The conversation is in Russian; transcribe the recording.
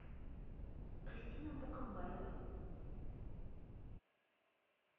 кристина букамбаева